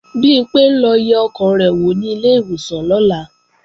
Bimpé ń lọ yẹ ọkàn rẹ̀ wò ní ilé ìwòsàn lọ́la